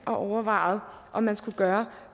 og overvejede om man skulle gøre